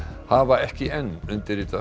hafa ekki enn undirritað